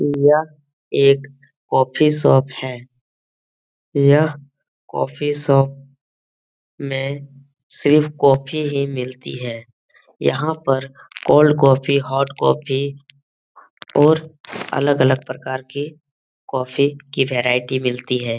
यह एक coffee shop है यह कॉफी शॉप में सिर्फ कॉफ़ी ही मिलती है यहाँ पर कोल्ड कॉफी हॉट कॉफी और अलग अलग प्रकार की कॉफी की वैरायटी मिलती है।